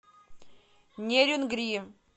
нерюнгри